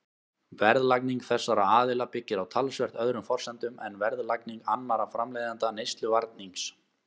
Verðlagning þessara aðila byggir á talsvert öðrum forsendum en verðlagning annarra framleiðenda neysluvarnings.